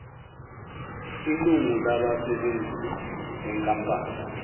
ilungu labasebenzi benkampani